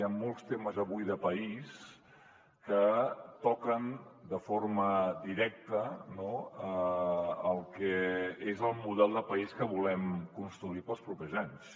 hi han molts temes avui de país que toquen de forma directa no el que és el model de país que volem construir per als propers anys